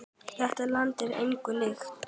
Þetta land er engu líkt.